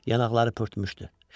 Yanaqlarını pörtmüşdü.